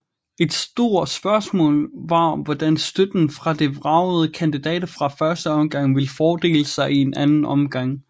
Et stort spørgsmål var hvordan støtten fra de vragede kandidater fra første omgang ville fordele sig i anden omgang